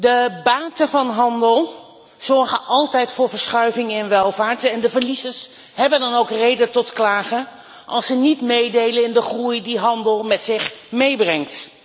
De baten van handel zorgen altijd voor verschuivingen in welvaart. De verliezers hebben dan ook reden tot klagen als ze niet meedelen in de groei die handel met zich meebrengt.